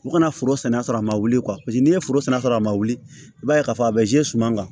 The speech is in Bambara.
U kana foro sɛnɛ sɔrɔ a ma wuli n'i ye foro sɛnɛ sɔrɔ a ma wuli i b'a ye k'a fɔ a bɛ suma kan